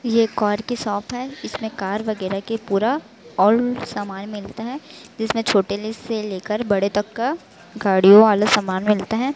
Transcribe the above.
ये कार की शॉप इसमें है इसमें कार वगैराह के पूरा सामान मिलता है जिसमें छोटे ले से लेकर बड़े तक का गाड़ियों वाले सामान मिलता हैं।